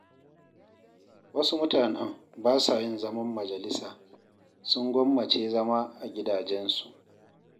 Wasu mutanen ba sa yin zaman majalisa, sun gwammace zama a gidajensu.